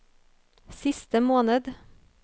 siste måned